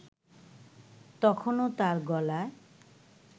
তখনও তার গলায়